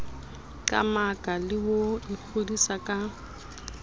qamaka le ho ikgodisa ka